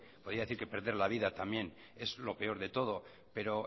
podría decir que perder la vida también es lo peor de todo pero